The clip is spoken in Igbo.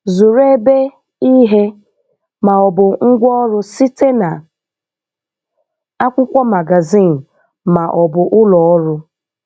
Zụrụ ebe, ihe, ma ọ bụ ngwaọrụ site na akwụkwo magazin ma ọ bụ ụlọ ọrụ.